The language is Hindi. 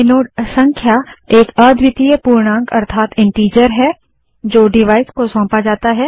आइनोड संख्या एक अद्वितीय पूर्णांक है जो डिवाइस को सौंपा जाता है